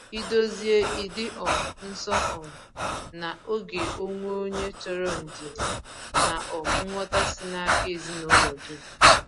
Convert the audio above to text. Ị̀dòzie ìdị um nso um na ògè onwe onye chọrọ ndidi na um nghọ̀ta si n’aka ezinụlọ dum.